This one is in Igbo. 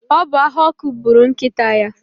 ọ bụ ahụ ọkụ gburu nkịta ya